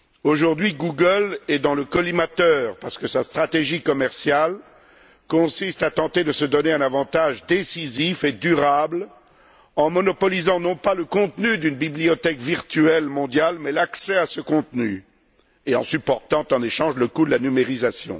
Aujourd'hui, Google est dans le collimateur, parce que sa stratégie commerciale consiste à tenter de se donner un avantage décisif et durable, en monopolisant, non pas le contenu d'une bibliothèque virtuelle mondiale, mais l'accès à ce contenu, et en supportant en échange le coût de la numérisation.